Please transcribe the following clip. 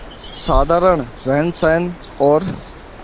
साधारण रहनसहन और